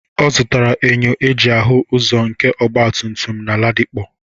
Ọ zutakwara enyo eji ahụ azụ nke ọgbatumtum na Ladipo.